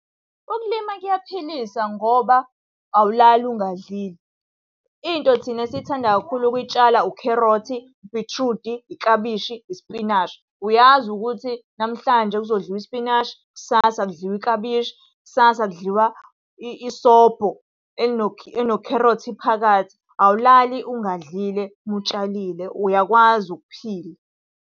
Ukulima kuyaphilisa ngoba awulali ungadlile. Into thina esithanda kakhulu ukuyitshala, ukherothi, ubhithrudi, iklabishi, ispinashi. Uyazi ukuthi namhlanje kuzodliwa ispinashi, kusasa kudliwa iklabishi, kusasa kudliwa isobho elinokherothi phakathi. Awulali ungadlile uma utshalile uyakwazi ukuphila.